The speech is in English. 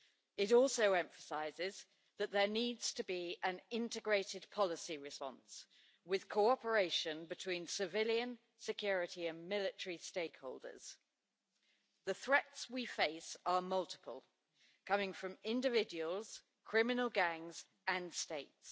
It also emphasises that there needs to be an integrated policy response with cooperation between civilian, security and military stakeholders. The threats we face are multiple, coming from individuals, criminal gangs and states.